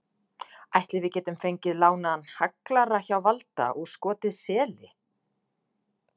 Ætli við getum fengið lánaðan haglara hjá Valda og skotið seli?